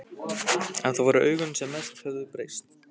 En það voru augun sem mest höfðu breyst.